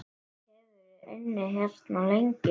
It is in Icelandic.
Hefurðu unnið hérna lengi?